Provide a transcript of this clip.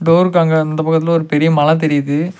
டோர்க்காகு அங்க அந்த பக்கத்துல ஒரு பெரிய மல தெரியிது.